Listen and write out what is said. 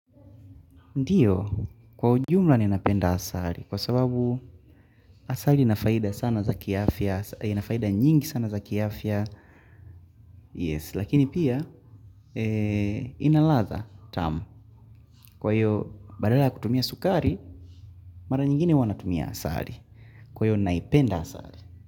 Ndiyo, kwa jumla ninapenda asali, kwa sababu asali inafaida sana za ki afya, inafaida nyingi sana za kiafia, yes, lakini pia, ina ladha tamu, kwa hiyo, badala ya kutumia sukari, mara nyingine huwa natumia asali, kwa hiyo naipenda asali.